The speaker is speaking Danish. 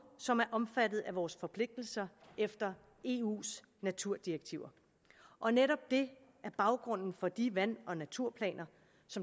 som er omfattet af vores forpligtelser efter eus naturdirektiver og netop det er baggrunden for de vand og naturplaner